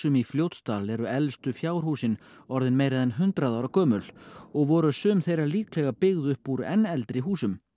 í Fljótsdal eru elstu fjárhúsin orðin meira en hundrað ára gömul og voru sum þeirra líklega byggð upp úr enn eldri húsum